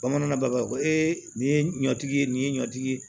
Bamanan b'a fɔ ko ee nin ye ɲɔtigi ye nin ye ɲɔtigi ye